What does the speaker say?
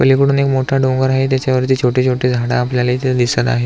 पलीकडून एक मोठा डोंगर आहे त्याच्यावरती छोटे छोटे झाड आपल्याला इथे दिसत आहे.